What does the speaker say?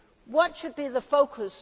What should be the focus?